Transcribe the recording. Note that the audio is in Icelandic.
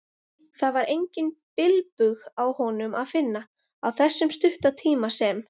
Það var engan bilbug á honum að finna, á þessum stutta tíma sem